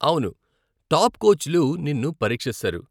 అవును, టాప్ కోచ్లు నిన్ను పరీక్షిస్తారు.